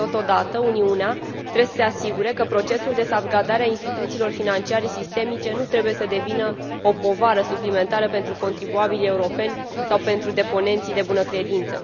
Totodată, Uniunea trebuie să se asigure că procesul de salvgardare a instituțiilor financiare sistemice nu trebuie să devină o povară suplimentară pentru contribuabilii europeni sau pentru deponenții de bună credință.